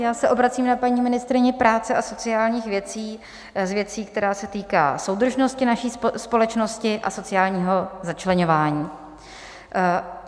Já se obracím na paní ministryni práce a sociálních věcí s věcí, která se týká soudržnosti naší společnosti a sociálního začleňování.